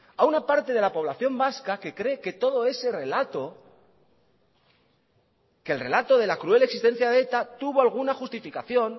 a una parte de la población vasca que cree que todo ese relato que el relato de la cruel existencia de eta tuvo alguna justificación